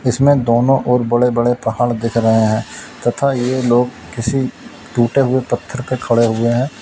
इसमें दोनों और बड़े बड़े पहाड़ दिख रहे हैं तथा ये लोग किसी टूटे हुए पत्थर पे खड़े हुए हैं।